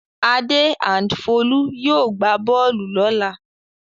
Adé and Folú yóò gbá bọ́ọ́lù lọ́la.